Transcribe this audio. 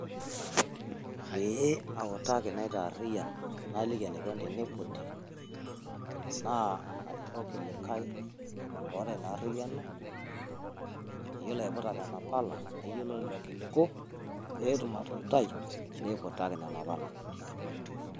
Pee autaki naitaariyian naliki enikoni teneiputi enaa arikoki olikae oata ina arriyiano oyiolo aiputa nena pala neyiolo lelo kililku pee atumoki atuutai pee eiputaki nena pala.